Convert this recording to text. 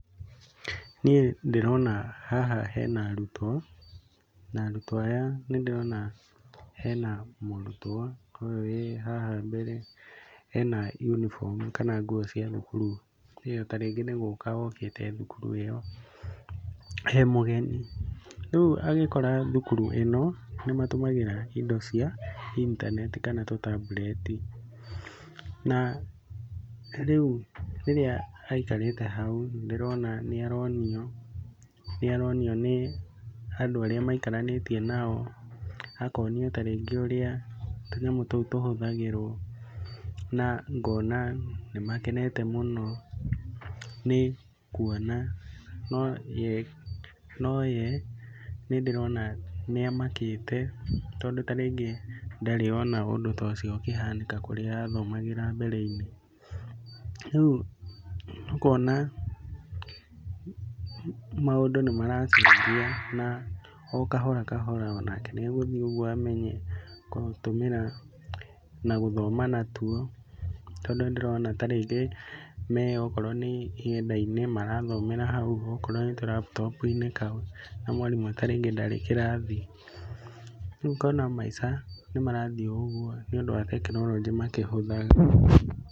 Niĩ ndĩrona haha hena arutwo na arutwo aya nĩ ndĩrona hena mũrutwo ũyũ wĩ haha mbere, ena yunibomu kana nguo cia thukuru na tarĩngĩ nĩ gũka okĩte thukuru ĩo e mũgeni. Rĩu agĩkora thukuru ĩno nĩmatũmagĩra indo cia intaneti kana tũtambureti na rĩu rĩrĩa aikarĩte hau nĩ ndĩrona nĩ aronio nĩ andũ arĩa maikaranĩtie nao, akonio ta rĩngĩ ũrĩa tũnyamũ tũu tũhũthagĩrwo na ngona nĩ makenete mũno nĩ kuona nowe nĩ ndĩrona nĩ amakĩte tondũ ta rĩngĩ ndarĩ ona ũndũ ta ũcio ũkĩhanĩka kũrĩa arathomagĩra mbere-inĩ. Rĩu ũkona maũndũ nĩ maracenjia na o kahora o kahora nĩ egũthiĩ ũguo amenye gũtũmĩra na gũthoma na tuo tondũ nĩ ndĩrona ta rĩngĩ me okorwo nĩ nyenda-inĩ marathomera hau okorwo nĩ karaputopu-inĩ kau na rĩngĩ mwarimũ ndarĩ kĩrathi, rĩu ngona maica nĩ marathi ũguo nĩ ũndũ wa tekinoronjĩ makĩhũthaga.